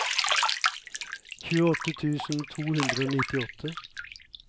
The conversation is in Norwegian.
tjueåtte tusen to hundre og nittiåtte